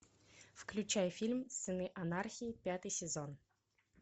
включай фильм сыны анархии пятый сезон